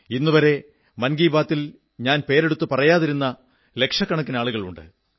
ഇന്നുവരെ മൻ കീ ബാത്തിൽ ഞാൻ പേരെടുത്തു പറയാതിരുന്ന ലക്ഷക്കിണക്കനാളുകളുണ്ട്